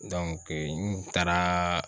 n taaraa